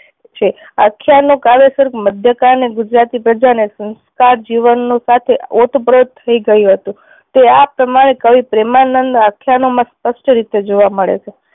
છે આખ્યાન નું કાવ્ય સર્ગ મધ્યકાન અને ગુજરાતી પ્રજા ને સંસ્કાર જીવન સાથે ઓત પ્રોત થઈ ગયું હતું તે આ પ્રમાણે કવિ પ્રેમાનંદ આખ્યાનો માં સ્પષ્ટ રીતે જોવા મળે છે